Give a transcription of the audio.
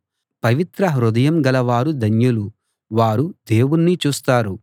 పవిత్ర హృదయం గలవారు ధన్యులు వారు దేవుణ్ణి చూస్తారు